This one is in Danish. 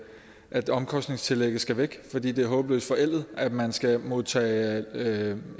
at omkostningstillægget skal væk fordi det er håbløst forældet at man skal modtage